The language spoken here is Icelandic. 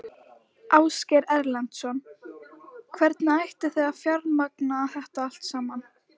Ásgeir Erlendsson: Hvernig ætlið þið að fjármagna þetta allt saman?